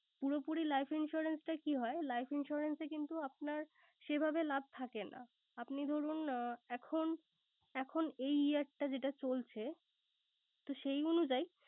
পুরোপুরি life insurance এ কি হয়, life insurance এ কিন্তু আপনার সেইভাবে লাভ থাকে না। আপনি ধরুন এখন এখন এই year টা যেটা চলছে, তো সেই অনুযায়ী